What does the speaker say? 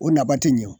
O nafa tɛ ɲɛ o